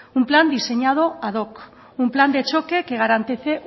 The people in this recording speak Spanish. un plan diseñado ad doc un plan de choque que garantice